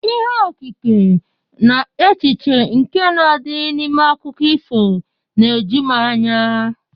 Ihe okike na echiche nke na-adị n'ime akụkọ ifo na-eju m anya.